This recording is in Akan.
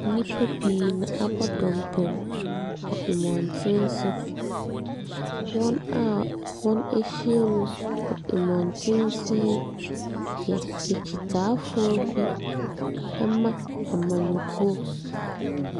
Nnipa pii na wɔabɔ dɔmpem wɔ mmɔntene so. Wɔn a wɔahyia mu wɔ mmɔntene so yi yɛ akyitaafoɔ bi ma amanyɔkuo.